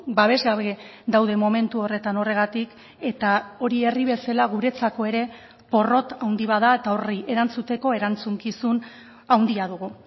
babes gabe daude momentu horretan horregatik eta hori herri bezala guretzako ere porrot handi bat da eta horri erantzuteko erantzukizun handia dugu